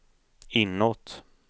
inåt